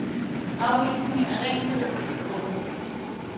Afvisningen er rent juridisk begrundet.